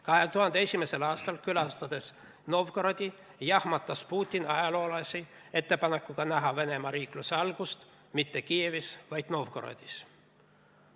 2001. aastal, külastades Novgorodi, jahmatas Putin ajaloolasi ettepanekuga näha Venemaa riikluse algust mitte Kiievis, vaid Novgorodis.